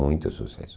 Muito sucesso.